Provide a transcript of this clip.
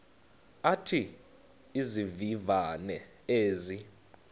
athi izivivane ezi